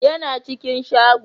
ya na cikin shago